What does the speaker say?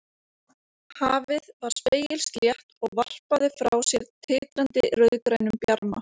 Hafið var spegilslétt og varpaði frá sér titrandi rauðgrænum bjarma.